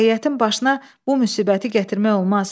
Rəiyyətin başına bu müsibəti gətirmək olmaz.